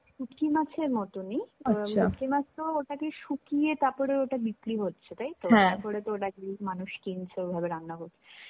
শুটকি মাছের মতনই আ শুটকি মাছ তো ওটাকে শুকিয়ে তারপর ওটাকে বিক্রি হচ্ছে তাইতো? তারপরে তো ওটাকে মানুষ কিনছে ওভাবে রান্না করছে.